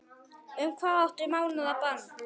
Hvað um átta mánaða bann?